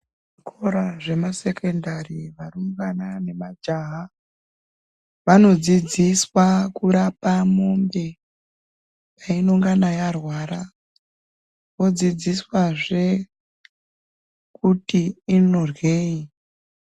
Zvikora zvema sekendari, varumbwana nemajaha vanodzidziswa kurapa mombe painongana yarwara vodzidziswazve kuti inoryeyi.